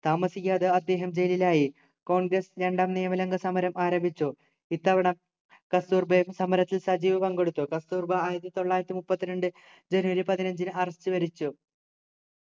താമസിയാതെ അദ്ദേഹം ജയിലിലായി congress രണ്ടാം നിയമലംഘനസമരം ആരംഭിച്ചു ഇത്തവണ കസ്തൂർബയും സമരത്തിൽ സജീവമായി പങ്കെടുത്തു കസ്തൂർബാ ആയിരത്തിതൊള്ളായിരത്തിമുപ്പത്തിരണ്ടു ജനുവരി പതിനഞ്ചിനു arrest വരിച്ചു